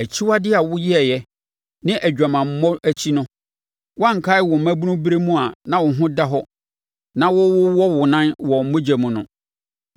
Akyiwadeɛ a woyɛeɛ ne wʼadwamammɔ akyi no, woankae wo mmabunu ɛberɛ a na wo ho da hɔ na worewowɔ wo nan wɔ mogya mu no.